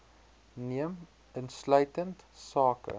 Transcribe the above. neem insluitend sake